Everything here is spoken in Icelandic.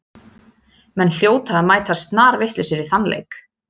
Menn hljóta að mæta snarvitlausir í þann leik.